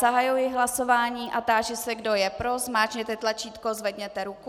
Zahajuji hlasování a táži se, kdo je pro, zmáčkněte tlačítko, zvedněte ruku.